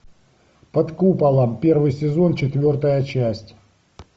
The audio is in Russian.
под куполом первый сезон четвертая часть